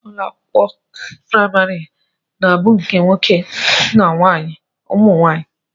Ụlọakwụkwọ primari niile na abụ nke nwoke na nke ụmụnwaanyi.